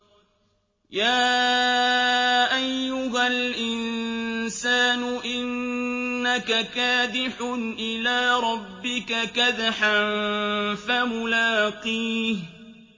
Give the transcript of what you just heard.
يَا أَيُّهَا الْإِنسَانُ إِنَّكَ كَادِحٌ إِلَىٰ رَبِّكَ كَدْحًا فَمُلَاقِيهِ